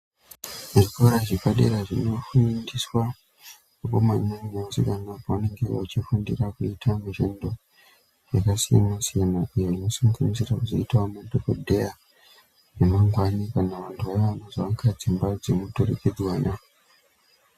Zvikora zvepadera zvinofundiswa vakomana neasikana pavanenge vachifundira kuita mishando yakasiyana-siyana, iyo inosanganisira kuzoitawo madhokodheya, emangwani kana vantu vaakuzovaka dzimba dzemuturikidzwana.